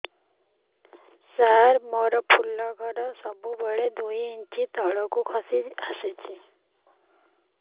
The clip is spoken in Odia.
ସାର ମୋର ଫୁଲ ଘର ସବୁ ବେଳେ ଦୁଇ ଇଞ୍ଚ ତଳକୁ ଖସି ଆସିଛି